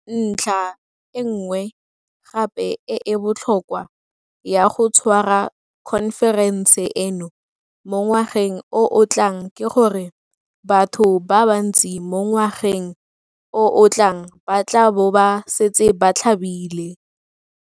Ntlha e nngwe gape e e botlhokwa ya go tshwara khonferense eno mo ngwageng o o tlang ke gore batho ba bantsi mo ngwageng o o tlang ba tla bo ba setse ba tlhabile.